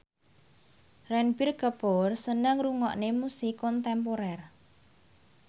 Ranbir Kapoor seneng ngrungokne musik kontemporer